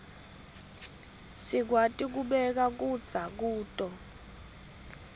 sikwati kubeka kudza kuto